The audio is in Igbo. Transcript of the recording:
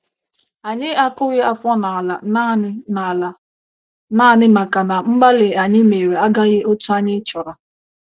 Anyị akụghị afọ n’ala naanị n’ala naanị maka na mgbalị anyị mere agaghị otú anyị chọrọ